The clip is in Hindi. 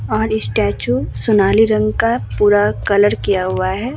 और स्टेचू सोनाली रंग का पूरा कलर किया हुआ है।